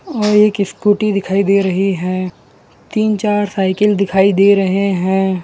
और एक स्कूटी दिखाई दे रही है तीन चार साइकिल दिखाई दे रहे हैं।